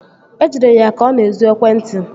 E jidere ya ka ọ na-ezu ekwentị